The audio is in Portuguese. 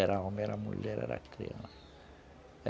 Era homem, era mulher, era criança.